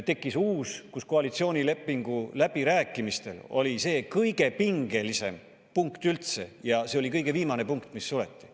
Tekkis uus, kus koalitsioonilepingu läbirääkimistel oli see kõige pingelisem punkt üldse ja see oli kõige viimane punkt, mis suleti.